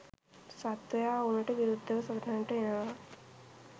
සත්වයා ඔවුනට විරුද්ධව සටනට එනවා.